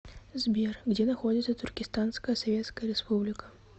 сбер где находится туркестанская советская республика